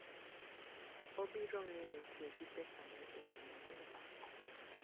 Obiro ng'eyo tiyo gi pesane e yo maber.